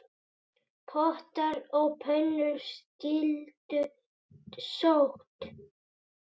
Pottar og pönnur skyldu sótt.